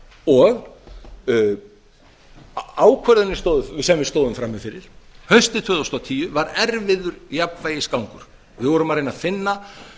og ákvörðunin sem við stóðum frammi fyrir haustið tvö þúsund og tíu var erfiður jafnvægisgangur við vorum að reyna að finna